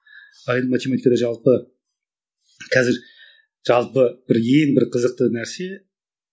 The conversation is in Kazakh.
ал енді математикада жалпы қазір жалпы бір ең бір қызықты нәрсе